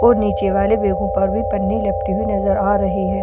और नीचे वाले बेगों पर भी पन्नी लपटी हुई नजर आ रही है।